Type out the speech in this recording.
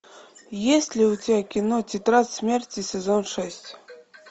есть ли у тебя кино тетрадь смерти сезон шесть